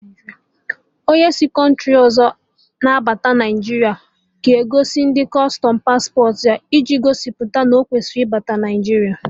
Onye si kọntri ọzọ abata Naijiria ga-egosi ndị kustọm pasporti ya, iji gosipụta na o kwesịrị ịbata Naịjiria